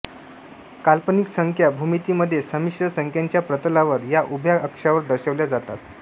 काल्पनिक संख्या भूमितीमध्ये संमिश्र संख्यांच्या प्रतलावर य उभ्या अक्षावर दर्शवल्या जातात